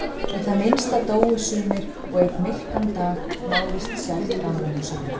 Í það minnsta dóu sumir og einn myrkan dag máðist sjálft Gamla húsið út.